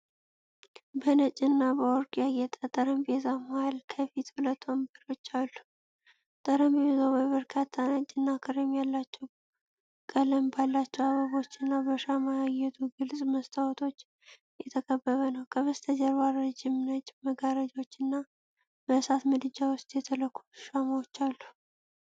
በነጭ እና በወርቅ ያጌጠ ጠረጴዛ መሃል ከፊት ሁለት ወንበሮች አሉ። ጠረጴዛው በበርካታ ነጭ እና ክሬም ቀለም ባላቸው አበቦች እና በሻማ ያጌጡ ግልጽ መስታወቶች የተከበበ ነው። ከበስተጀርባ ረጅም ነጭ መጋረጃዎችና በእሳት ምድጃ ውስጥ የተለኮሱ ሻማዎች አሉ።